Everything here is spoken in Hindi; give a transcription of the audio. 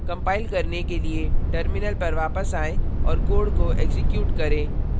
कंपाइल करने के लिए terminal पर वापस आएं और code को एक्जीक्यूट करें